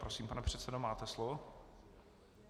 Prosím, pane předsedo, máte slovo.